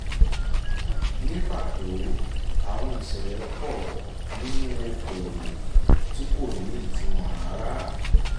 ní pàtó àwọn ìṣẹ̀lẹ̀ pọ̀ nínú okò-òwò tí kò ní ìtumọ̀ rárá.